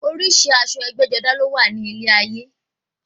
Oríṣi aṣọ ẹgbẹ́-jọdá ló wà ní ilé ayé.